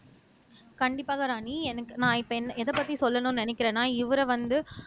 கண்டிப்பாக ராணி எனக்கு நான் இப்ப என் எதைப்பத்தி சொல்லணும்ன்னு நினைக்கிறேன்னா இவரை வந்து